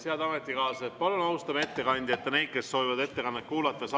Head ametikaaslased, palun austame ettekandjat ja neid, kes soovivad ettekannet kuulata!